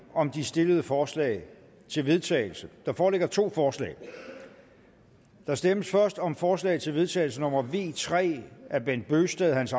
om de stillede forslag til vedtagelse der foreligger to forslag der stemmes først om forslag til vedtagelse nummer v tre af bent bøgsted hans